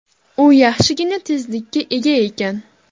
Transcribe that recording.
U yaxshigina tezlikka ega ekan.